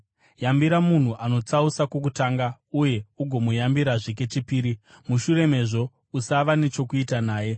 Yambira munhu anotsausa kokutanga uye ugomuyambirazve kechipiri. Mushure mezvo usava nechokuita naye.